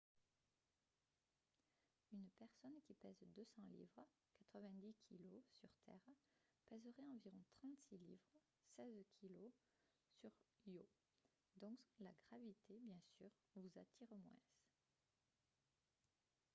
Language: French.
une personne qui pèse 200 livres 90kg sur terre pèserait environ 36 livres 16kg sur io. donc la gravité bien sûr vous attire moins